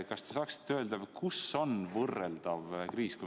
Kas te saaksite öelda, kus on võrreldav kriis?